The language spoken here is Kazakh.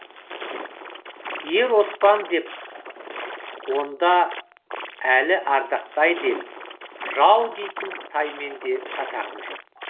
ер оспан деп онда әлі ардақтайды ел жау дейтін қытаймен де шатағым жоқ